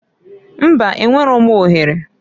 Mbaǃ Enwero m ohere.